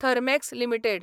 Thermax limited